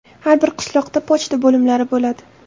Har bir qishloqda pochta bo‘limlari bo‘ladi.